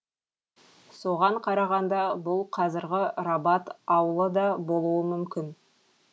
соған қарағанда бұл қазіргі рабат аулы да болуы мүмкін